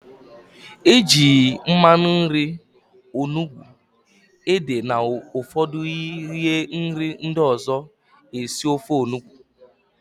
Eji mmanụ nri, onugbu, ede na ụfọdụ ihe nri ndị ọzọ esi ofe Onugbu